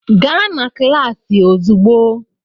Gaa na kịlasị ozigbo!